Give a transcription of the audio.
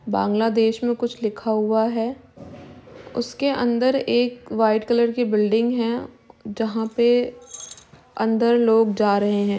बांग्लादेश में कुछ लिखा हुआ है। उसके अंदर एक वाइट कलर की बिल्डिंग हैं जहां पे अंदर लोग जा रहे हैं।